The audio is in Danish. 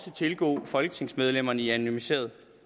tilgå folketingsmedlemmerne i anonymiseret